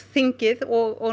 þingið og